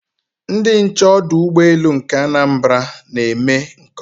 Ndị nche ọdụ ụgbọelu nke Anambra na-eme nke ọma